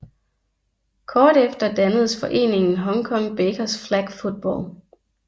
Kort efter dannedes foreningen Hong Kong Bakers Flag Football